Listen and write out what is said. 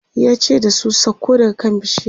yace da su "sauko daga kan bishiyar!"